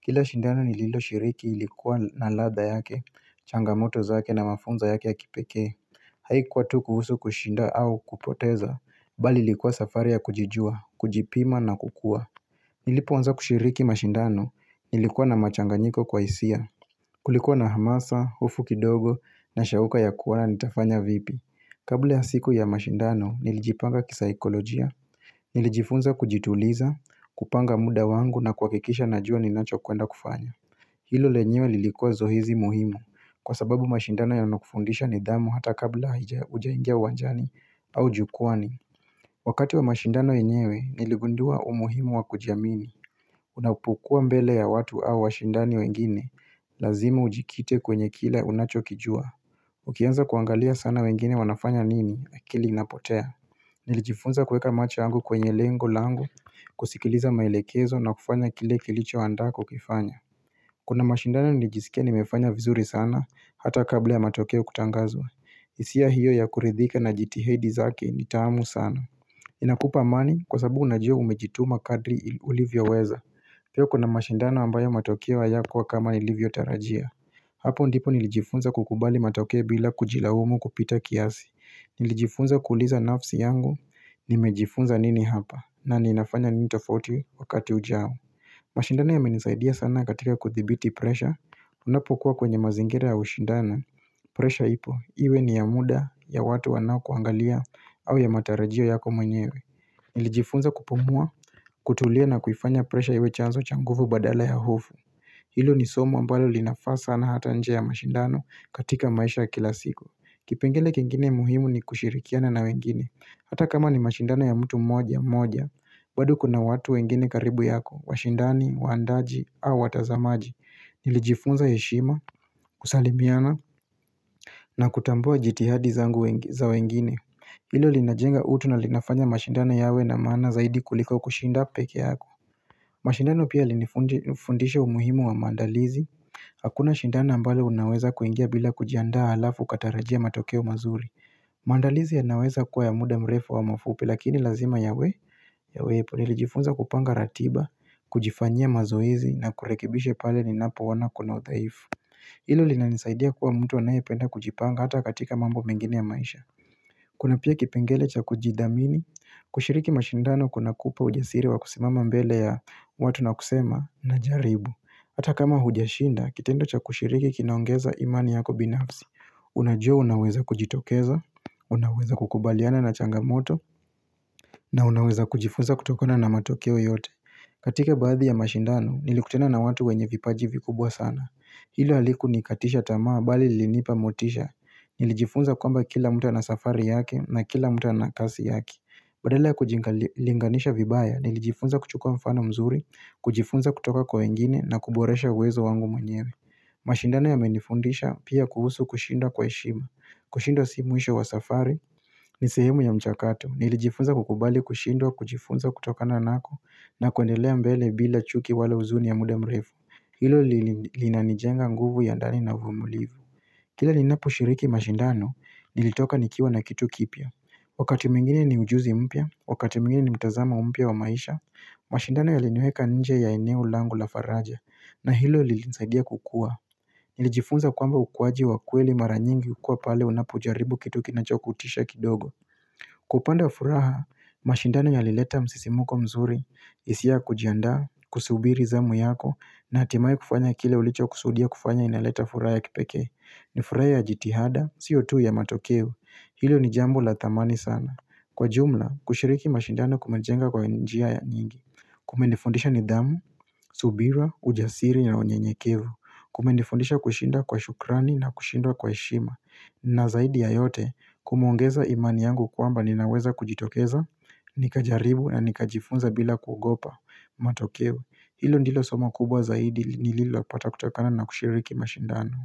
kila shindano nililo shiriki ilikuwa na ladha yake changamoto zake na mafunzo yake ya kipekee haikuwa tu kuhusu kushinda au kupoteza bali ilikuwa safari ya kujijua kujipima na kukua nilipoanza kushiriki mashindano nilikuwa na machanganyiko kwa hisia Kulikuwa na hamasa, hofu kidogo na shauka ya kuwa nitafanya vipi Kabla ya siku ya mashindano nilijipanga kisaikolojia Nilijifunza kujituliza, kupanga muda wangu na kuhakikisha najua ninacho kwenda kufanya Hilo lenyewe lilikuwa zoezi muhimu Kwa sababu mashindano yanakufundisha nidhamu hata kabla hujaingia uwajani au jukuani Wakati wa mashindano yenyewe niligundua umuhimu wa kujiamini Unapokuwa mbele ya watu au washindani wengine Lazima ujikite kwenye kila unachokijua Ukianza kuangalia sana wengine wanafanya nini akili inapotea Nilijifunza kueka macho yangu kwenye lengo langu kusikiliza maelekezo na kufanya kile kilicho andaa kukifanya Kuna mashindano nlijiskia nimefanya vizuri sana Hata kabla ya matokeo kutangazwa hisia hiyo ya kuridhika na jithadi zake ni taamu sana Inakupa mani kwa sababu unajua umejituma kadri ulivyo weza Pia kuna mashindana ambayo matokeo hayakuwa kama nilivyotarajia Hapo ndipo nilijifunza kukubali matokeo bila kujilaumu kupita kiasi Nilijifunza kuliza nafsi yangu nimejifunza nini hapa na ninafanya nini tofauti wakati ujao mashindano yamenisaidia sana katika kuthibiti pressure Unapokuwa kwenye mazingira ya ushindano pressure ipo iwe ni ya muda ya watu wanao kuangalia au ya matarajio yako mwenyewe Nilijifunza kupumua, kutulia na kufanya presha iwe chanzo cha nguvu badala ya hofu Hilo ni somo mbalo linafaa sana hata nje ya mashindano katika maisha kila siku Kipengele kengine muhimu ni kushirikiana na wengine Hata kama ni mashindano ya mtu mmoja mmoja bado kuna watu wengine karibu yako, washindani, wandaji, au watazamaji Nilijifunza yeshima, kusalimiana na kutambua jitihadi za wengine Ilo linajenga utu na linafanya mashindana yawe na maana zaidi kuliko kushinda peke yako mashindano pia yalinifundisha umuhimu wa mandalizi Hakuna shindano ambalo unaweza kuingia bila kujiandaa halafu ukatarajia matokeo mazuri maandalizi yanaweza kuwa ya muda mrefu wa mafupi lakini lazima yawe Yawepo nilijifunza kupanga ratiba, kujifanyia mazoezi na kurekebisha pale ninapo ona kuna udhaifu Hilo linanisaidia kuwa mtu anayependa kujipanga hata katika mambo mengine ya maisha Kuna pia kipengele cha kujidhamini, kushiriki mashindano kuna kupa ujasiri wa kusimama mbele ya watu na kusema najaribu Ata kama hujashinda, kitendo cha kushiriki kinaongeza imani yako binafsi Unajua unaweza kujitokeza, unaweza kukubaliana na changamoto, na unaweza kujifunza kutokona na matokeo yote katika baadhi ya mashindano, nilikutana na watu wenye vipaji vikubwa sana Hilo halikunikatisha tamaa bali lilinipa motisha Nilijifunza kwamba kila mtu na safari yake na kila mtu ana kasi yake Badala ya kujilinganisha vibaya Nilijifunza kuchukua mfano mzuri kujifunza kutoka kwa wengine na kuboresha uwezo wangu mwenyewe mashindano yamenifundisha pia kuhusu kushindwa kwa heshima kushindwa si mwisho wa safari ni sehemu ya mchakato Nilijifunza kukubali kushindwa kujifunza kutokana nako na kuendelea mbele bila chuki wala huzuni ya muda mrefu Hilo linanijenga nguvu ya ndani na vumulivu Kile ninapo shiriki mashindano nilitoka nikiwa na kitu kipya Wakati mwingine ni ujuzi mpya, wakati mwingine ni mtazamo mpya wa maisha mashindano yaliniweka nje ya eneo langu la faraja na hilo lilinisaidia kukua Nilijifunza kwamba ukuaji wa kweli mara nyingi ukuwa pale unapo ujaribu kitu kinachokutisha kidogo Kwa upande wa furaha mashindano yalileta msisimuko mzuri hisia ya kujiandaa kusubiri zamu yako na hatimaye kufanya kile ulicho kusudia kufanya inaleta furaha ya kipeke ni furaha ya jitihada, Sio tu ya matokevu Hilo ni jambo la dhamani sana Kwa jumla, kushiriki mashindano kumajenga kwa njia ya nyingi kumenifundisha nidhamu, subira, ujasiri na unyenyekevu Kumendifundisha kushinda kwa shukrani na kushindwa kwa heshima na zaidi ya yote, kumeongeza imani yangu kwamba ninaweza kujitokeza Nikajaribu na nikajifunza bila kuogopa matokeo Hilo ndilo somo kubwa zaidi nililopata kutokana na kushiriki mashindano.